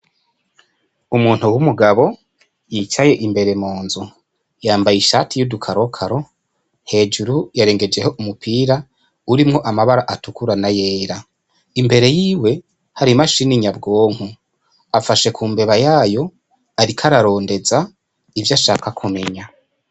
Umuntu w'umugabo yicaye imbere munzu yambaye ishati yudu karokaro hejuru yarengejeho umupira urimwo amabara atukura n'ayera imbere yiwe hari imashine nyabwonko afashe ku mbeba yayo ariko ararondeza ivyo ashaka kumenya.